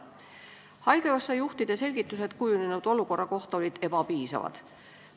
Haigekassa juhtide selgitused kujunenud olukorra kohta olid ebapiisavad.